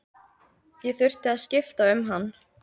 Ég þurfti að skipta um hann.